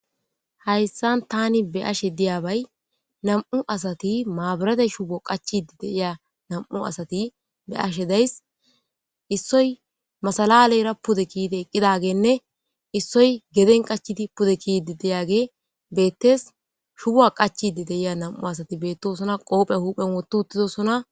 hayssan tani be ashe diyabay nam7u asati maaburate shubo qachidi deiya nam7u asati be ashe days issoy masalaleyra pude kiide eqqidagenne issoy geden qachidi pude kidi deyage beettes shuba qachidi deiya nam7u asati beettosona qoophe huuphen wottu uttidosona